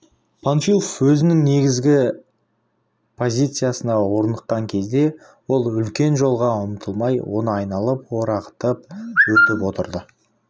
панфилов өзінің негізгі позициясына орныққан кезде ол үлкен жолға ұмтылмай оны айналып орағытып өтіп отырды